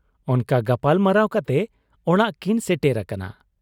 ᱚᱱᱠᱟ ᱜᱟᱯᱟᱞᱢᱟᱨᱟᱣ ᱠᱟᱛᱮ ᱚᱲᱟᱜ ᱠᱤᱱ ᱥᱮᱴᱮᱨ ᱟᱠᱟᱱᱟ ᱾